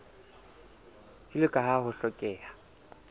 jwalo ka ha ho hlokeha